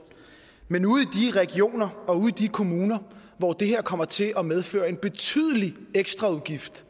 men ude i de regioner og ude i de kommuner hvor det her kommer til at medføre en betydelig ekstraudgift